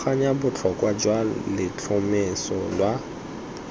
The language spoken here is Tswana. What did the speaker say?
tlhaloganya botlhokwa jwa letlhomeso la